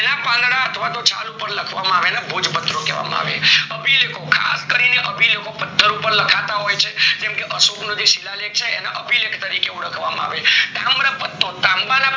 તેના પાંદડા અથવા તો છાલ ઉપર લખવામાં આવે એને ભોજપત્ર કહેવામાં આવે. ખાસ કરી પત્ર ઉપર લખાતા હોય છે, જેમ કે અશોકનું જે શીલાલેખ છે, એને અભિલિખિ તરીકે ઓળખવામાં આવે. તામ્રપત્રો, તાંબાના